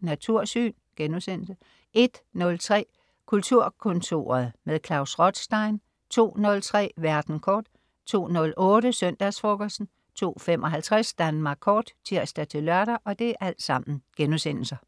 Natursyn* 01.03 Kulturkontoret med Klaus Rothstein* 02.03 Verden kort* 02.08 Søndagsfrokosten* 02.55 Danmark Kort* (tirs-lør)